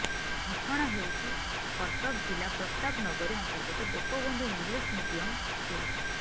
ଘଟଣା ହେଉଛି କଟକ ଜିଲ୍ଲା ପ୍ରତାପ ନଗରୀ ଅନ୍ତର୍ଗତ ଗୋପବନ୍ଧୁ ଇଂଲିଶ୍ ମିଡିୟମ ସ୍କୁଲର